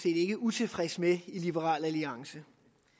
ikke utilfredse med i liberal alliance